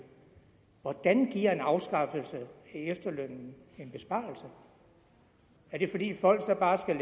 hvordan giver en afskaffelse af efterlønnen en besparelse er det fordi folk så bare skal